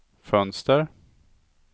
fönster